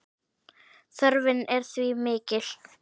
Þörfin er því mikil.